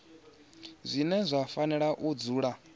zwine zwa fanela u dzula